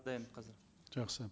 дайын қазір жақсы